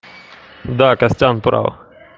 да костя прав